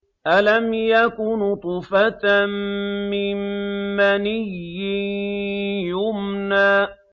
أَلَمْ يَكُ نُطْفَةً مِّن مَّنِيٍّ يُمْنَىٰ